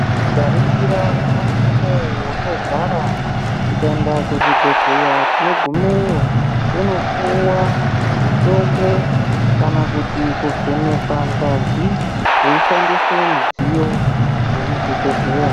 Tikaringira nyamashi unouyu wakagara tikaenda kuzvibhedhlera tinogumeyo tonopuwa mutombo kana kuti kuvhenekwa ngazi veishandisa midziyo yemuzvibhedhlera.